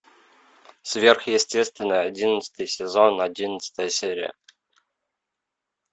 сверхъестественное одиннадцатый сезон одиннадцатая серия